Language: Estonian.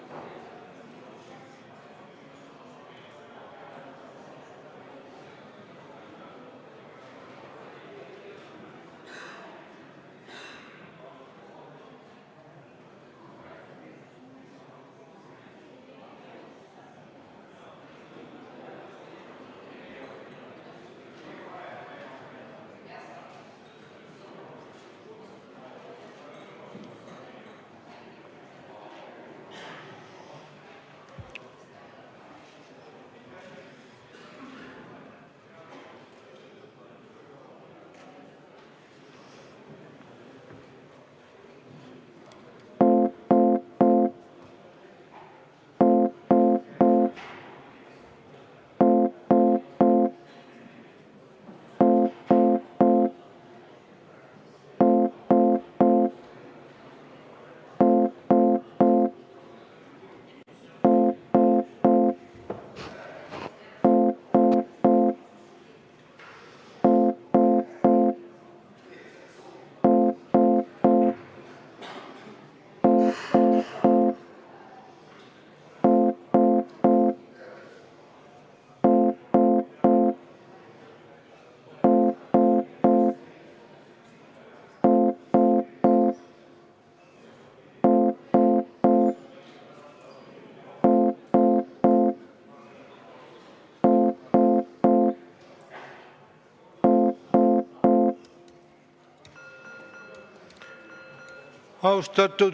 V a h e a e g